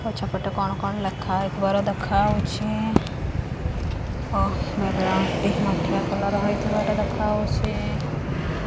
ପଛ ପଟେ କଣ କଣ ଲେଖା ହୋଇଥିବାର ଦେଖାହୋଉଛି। ଓ ମାଠିଆ କଲର୍ ର ହୋଇଥିବାର ଦେଖାହୋଉଛି।